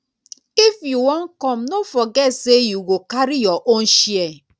if you wan come no forget sey you go carry your own chair.